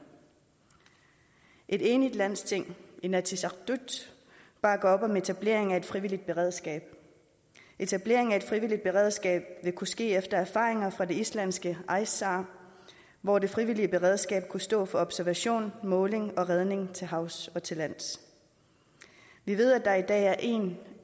et enigt landsting inatsisartut bakker op om etablering af et frivilligt beredskab etablering af et frivilligt beredskab vil kunne ske efter erfaringer fra det islandske ice sar hvor det frivillige beredskab kunne stå for observation måling og redning til havs og til lands vi ved at der i dag er én